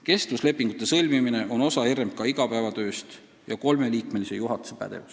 " Kestvuslepingute sõlmimine on osa RMK igapäevatööst ja kolmeliikmelise juhatuse pädevus.